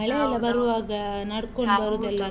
.